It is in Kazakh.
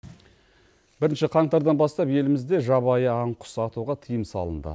бірінші қаңтардан бастап елімізде жабайы аң құс атуға тиым салынды